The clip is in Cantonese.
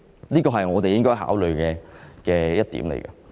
這是我們應該考慮的事。